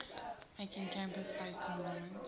making campus based enrollment